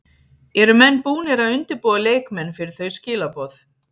Eru menn búnir að undirbúa leikmenn fyrir þau skilaboð?